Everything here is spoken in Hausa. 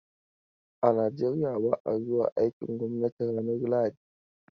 A Nigeriya ba a zuwa aikin gwamnati ranar lahadi.